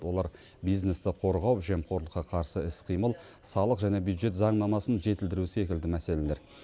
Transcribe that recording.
олар бизнесті қорғау жемқорлыққа қарсы іс қимыл салық және бюджет заңнамасын жетілдіру секілді мәселелер